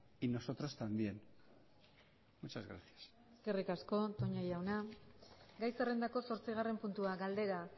y nosotros también muchas gracias eskerrik asko toña jauna gai zerrendako zortzigarren puntua galdera